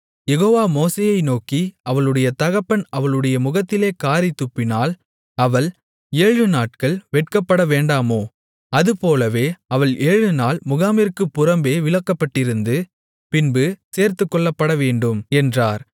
யெகோவா மோசேயை நோக்கி அவளுடைய தகப்பன் அவளுடைய முகத்திலே காறித் துப்பினால் அவள் ஏழுநாட்கள் வெட்கப்படவேண்டாமோ அதுபோலவே அவள் ஏழுநாள் முகாமிற்குப் புறம்பே விலக்கப்பட்டிருந்து பின்பு சேர்த்துக்கொள்ளப்படவேண்டும் என்றார்